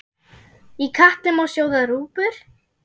Í katli má sjóða rjúpur?